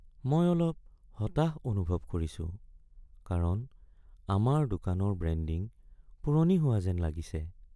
মই অলপ হতাশ অনুভৱ কৰিছো কাৰণ আমাৰ দোকানৰ ব্ৰেণ্ডিং পুৰণি হোৱা যেন লাগিছে।